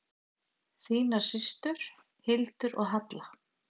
Þínar systur, Hildur og Halla.